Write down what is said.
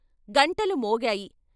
గంటలు మోగాయి.